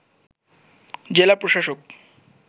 জেলা প্রশাসক